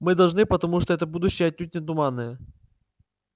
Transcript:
мы должны потому что это будущее отнюдь не туманное